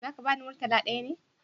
Za ka bani murtala ɗaya ne?